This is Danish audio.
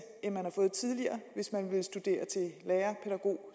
end man har fået tidligere hvis man vil studere til lærer pædagog